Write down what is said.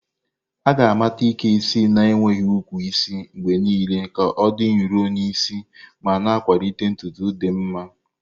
A ga-amata Ike isi na-enweghị ukwu isi mgbe niile ka ọ dị nro n'isi ma na-akwalite ntutu dị mma.